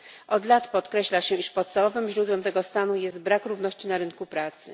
Od lat podkreśla się, że podstawowym źródłem tego stanu jest brak równości na rynku pracy.